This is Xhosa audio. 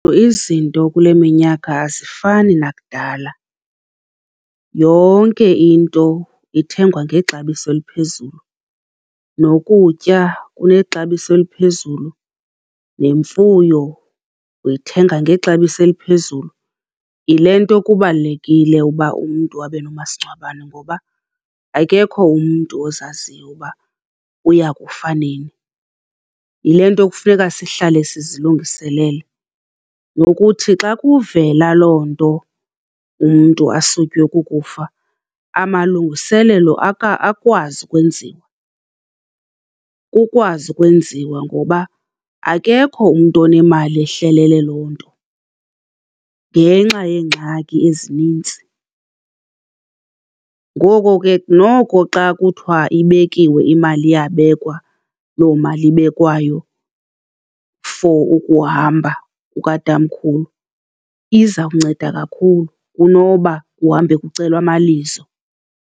Izinto kule minyaka azifani nakudala, yonke into ithengwa ngexabiso eliphezulu, nokutya kunexabiso eliphezulu, nemfuyo uyithenga ngexabiso eliphezulu. Yile nto kubalulekile ukuba umntu abenomasingcwabane ngoba akekho umntu ozaziyo ukuba uya kufa nini. Yile nto kufuneka sihlahle sizilungiselele nokuthi xa kuvela loo nto umntu asutywe kukufa, amalungiselelo akwazi ukwenziwa, kukwazi ukwenziwa ngoba akekho umntu onemali ehlelele loo nto ngenxa yeengxaki ezininzi. Ngoko ke noko xa kuthiwa ibekiwe imali iyabekwa loo mali ibekwayo for ukuhamba kukatamkhulu iza kunceda kakhulu kunoba kuhambe kucelwa amalizo.